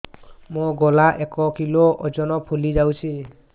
ମୋ ଗଳା ଏକ କିଲୋ ଓଜନ ଫୁଲି ଯାଉଛି